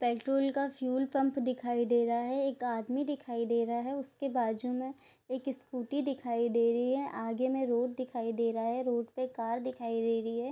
Petrol का fuel pump दिखाई दे रहा है। एक आदमी दिखाई दे रहा है। उसके बाजू में एक स्कूटी दिखाई दे रही है। आगे में रोड दिखाई दे रहा है। रोड पे कार दिखाई दे रही है।